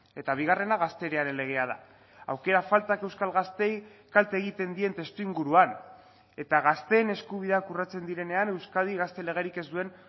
eta bigarrena gazteriaren legea da aukera faltak euskal gazteei kalte egiten dien testuinguruan eta gazteen eskubideak urratzen direnean euskadi gazte legerik ez duen